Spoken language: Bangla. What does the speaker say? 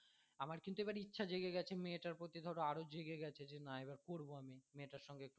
আমার কিন্তু এবার ইচ্ছা জেগে গেছে যে মেয়েটার প্রতি যে ধরো আরও জেগে গেছে যে না এবার যে না করবো আমি মেয়েটার সঙ্গে